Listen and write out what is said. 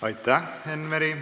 Aitäh, Enn Meri!